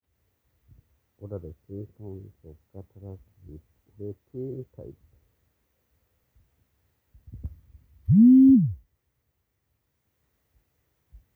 Kakwa ibulabul lemoyian e cataract Hutterite type?